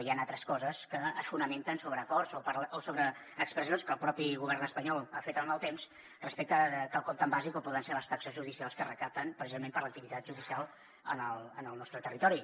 hi han altres coses que es fonamenten sobre acords o sobre expressions que el propi govern espanyol ha fet en el temps respecte a quelcom tan bàsic com poden ser les taxes judicials que recapten precisament per l’activitat judicial en el nostre territori